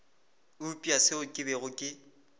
eupša seo ke bego ke